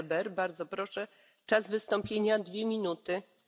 Frau Präsidentin, Herr Kommissar, liebe Kolleginnen, liebe Kollegen!